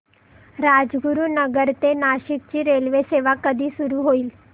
राजगुरूनगर ते नाशिक ची रेल्वेसेवा कधी सुरू होईल